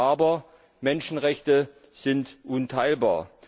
Aber Menschenrechte sind unteilbar!